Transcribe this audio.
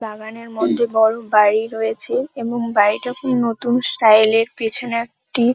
বাগান এর মধ্যে বড় বাড়ি রয়েছে এবং বাড়িটা নতুন স্টাইল এর পেছনে একটি --